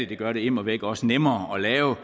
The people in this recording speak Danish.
det gør det immervæk også nemmere at lave